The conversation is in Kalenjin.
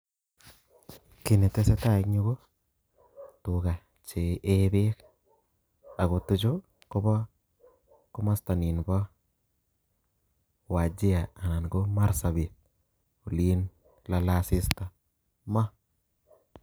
Kinetesetai eng Yu ko tuga che ee beek ako tuchu Kobo komasta nimpo wajir ana ko marsabit oliin lalee asista maa